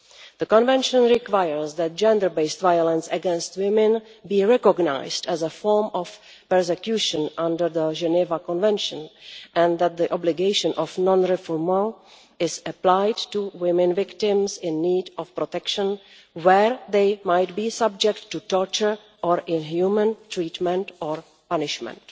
The Convention requires that gender based violence against women be recognised as a form of persecution under the Geneva Convention and that the obligation of non-refoulement is applied to women victims in need of protection where they might be subject to torture or inhuman treatment or punishment.